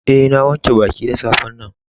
Eh, na wanke baki da safe'n nan.